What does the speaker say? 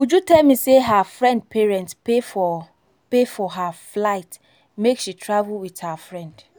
uju tell me say her friend parent pay for pay for her flight make she travel with her friend